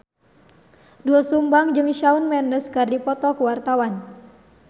Doel Sumbang jeung Shawn Mendes keur dipoto ku wartawan